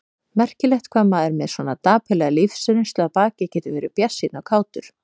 Merkilegt hvað maður með svona dapurlega lífsreynslu að baki getur verið bjartsýnn og kátur.